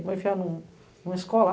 Vou enfiar em uma escola?